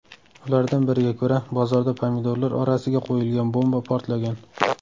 Ulardan biriga ko‘ra, bozorda pomidorlar orasiga qo‘yilgan bomba portlagan.